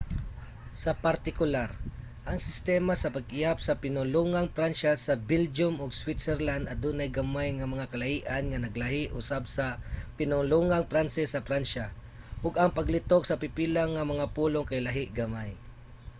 sa partikular ang sistema sa pag-ihap sa pinulungang pransya sa belgium ug switzerland adunay gamay nga mga kalahian nga naglahi usab sa pinulungang pranses sa pransya ug ang paglitok sa pipila nga mga pulong kay lahi gamay